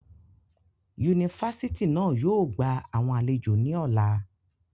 Unifásitì na yóò gba awọn alejo ni ọla.